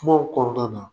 Kumaw kɔnɔna na